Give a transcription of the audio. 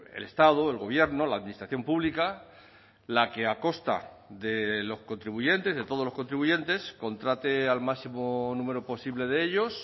el estado el gobierno la administración pública la que a costa de los contribuyentes de todos los contribuyentes contrate al máximo número posible de ellos